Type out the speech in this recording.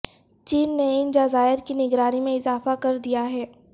چین نے ان جزائر کی نگرانی میں اضافہ کر دیا ہے